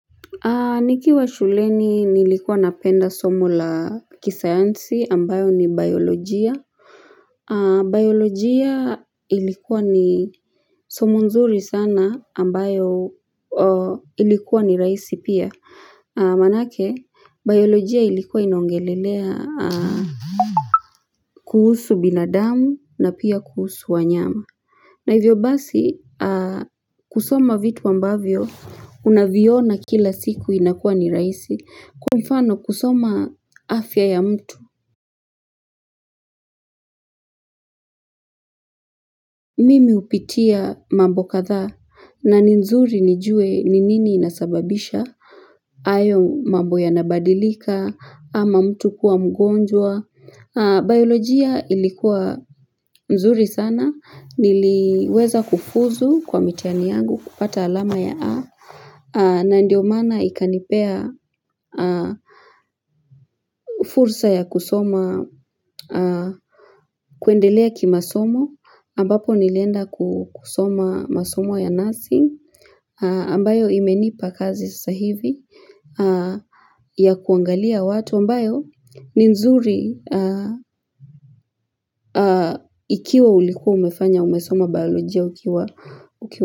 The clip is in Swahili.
Nikiwa shuleni nilikuwa napenda somo la kisayansi ambayo ni biolojia Biolojia ilikuwa ni somo nzuri sana ambayo ilikuwa ni raisi pia Manake biolojia ilikuwa inaongelelea kuhusu binadamu na pia kuhusu wanyama na hivyo basi kusoma vitu ambavyo unaviona kila siku inakua ni raisi kwa mfano kusoma afya ya mtu mimi upitia mambo kadhaa na nzuri nijue ni nini inasababisha ayo mabo yanabadilika ama mtu kuwa mgonjwa. Biolojia ilikuwa nzuri sana Niliweza kufuzu kwa mitihani yangu kupata alama ya A na ndio mana ikanipea fursa ya kusoma kuendelea kimasomo ambapo nilienda kusoma masomo ya nursing ambayo imenipa kazi sasa hivi ya kuangalia watu ambayo ni mzuri Ikiwa ulikuwa umefanya umesoma biolojia ukiwa.